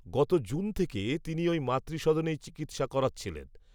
গত জুন থেকে তিনি, ওই মাতৃসদনেই চিকিত্সা করাচ্ছিলেন